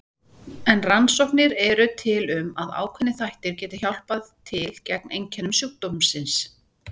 En rannsóknir eru til um að ákveðnir þættir geti hjálpað til gegn einkennum sjúkdómsins.